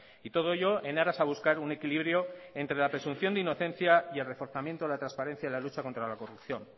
y todo ello en aras a buscar un equilibrio entre la presunción de inocencia y el reforzamiento de la transparencia en la lucha contra la corrupción